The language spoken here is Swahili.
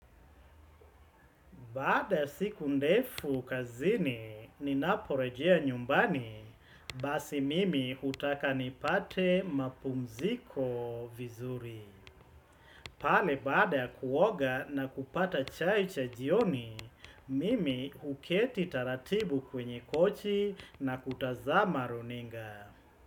Baada ya siku ndefu kazini, ninaporejea nyumbani, basi mimi utaka nipate mapumziko vizuri. Pale baada ya kuoga na kupata chai cha jioni, mimi uketi taratibu kwenye kochi na kutazama runinga.